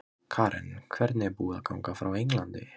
Karen: Hvernig er búið að ganga frá Englandi?